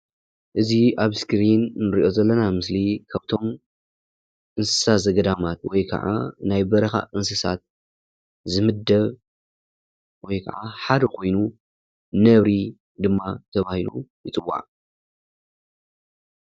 እዚ ኣብ ስክሪን እንርእዮ ዘለና ምስሊ ካብቶም እንስሳ ዘገዳማት ወይ ከኣ ናይ በረኻ እንስሳታት ዝምድብ ወይ ከኣ ሓደ ኮይኑ ነብሪ ድማ ተባሂሉ ይፅዋዕ።